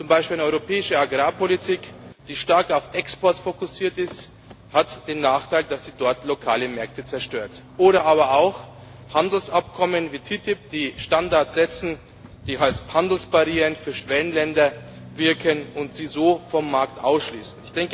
Zum Beispiel eine europäische Agrarpolitik, die stark auf Export fokussiert ist, hat den Nachteil, dass sie dort lokale Märkte zerstört. Oder aber auch Handelsabkommen wie die TTIP, die Standards setzen, die als Handelsbarrieren für Schwellenländer wirken und sie so vom Markt ausschließen.